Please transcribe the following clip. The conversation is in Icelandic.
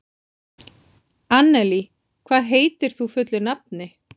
Annelí, hvað heitir þú fullu nafni?